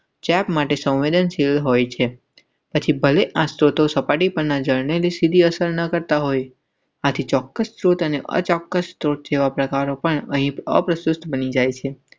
Check માટે સંવેદનશીલ હોય છે. પછી ભલે આજ તો સપાટી પરના જળને સીધી અસર ન કરતા હોય. ચોક્કસ જેવા પ્રકારો પણ બની જાય છે.